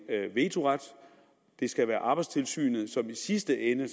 vetoret det skal være arbejdstilsynet som i sidste ende